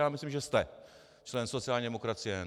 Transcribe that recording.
Já myslím, že jste členem sociální demokracie.